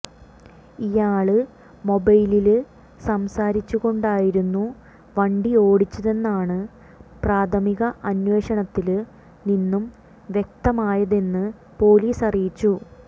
ഇയാള് മൊബൈലില് സംസാരിച്ചു കൊണ്ടായിരുന്നു വണ്ടി ഓടിച്ചതെന്നാണ് പ്രാഥമിക അന്വേഷണത്തില് നിന്നും വ്യക്തമായതെന്ന് പോലീസ് അറിയിച്ചു